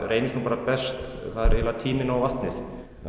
reyndist best var tíminn og vatnið